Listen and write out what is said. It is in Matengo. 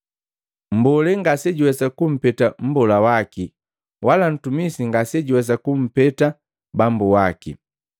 “Mmbolee ngasejuwesa kumpeta mmbola waki wala mtumisi ngase juwesa kumpeta bambu waki.